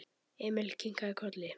Emil kinkaði kolli.